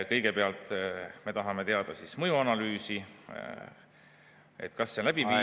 Kõigepealt me tahame teada mõjuanalüüsi kohta, kas see on läbi viidud …